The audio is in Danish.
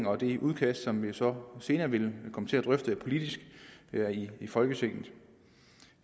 og i det udkast som vi så senere vil komme til at drøfte politisk her i folketinget